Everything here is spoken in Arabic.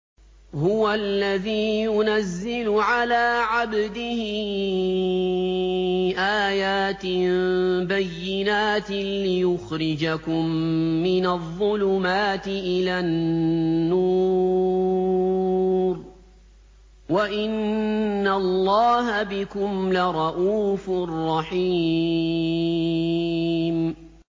هُوَ الَّذِي يُنَزِّلُ عَلَىٰ عَبْدِهِ آيَاتٍ بَيِّنَاتٍ لِّيُخْرِجَكُم مِّنَ الظُّلُمَاتِ إِلَى النُّورِ ۚ وَإِنَّ اللَّهَ بِكُمْ لَرَءُوفٌ رَّحِيمٌ